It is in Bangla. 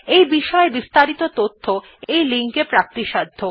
এই বিষয় বিস্তারিত তথ্য এই লিঙ্ক এ প্রাপ্তিসাধ্য